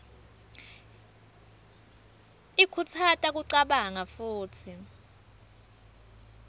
ikhutsata kucabanga futsi